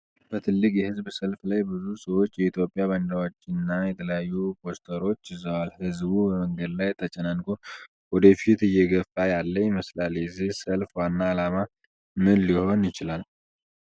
በትልቅ የሕዝብ ሰልፍ ላይ ብዙ ሰዎች የኢትዮጵያ ባንዲራዎችና የተለያዩ ፖስተሮች ይዘዋል። ሕዝቡ በመንገድ ላይ ተጨናንቆ ወደፊት እየገፋ ያለ ይመስላል። የዚህ ሰልፍ ዋና ዓላማ ምን ሊሆን ይችላል?